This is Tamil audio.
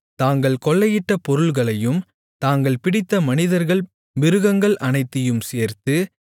தாங்கள் கொள்ளையிட்ட பொருள்களையும் தாங்கள் பிடித்த மனிதர்கள் மிருகங்கள் அனைத்தையும் சேர்த்து